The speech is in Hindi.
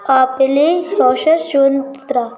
अपले स्वासासोनत्रा --